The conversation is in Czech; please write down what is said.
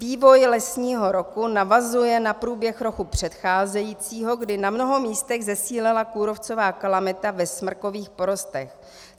Vývoj lesního roku navazuje na průběh roku předcházejícího, kdy na mnoha místech zesílila kůrovcová kalamita ve smrkových porostech.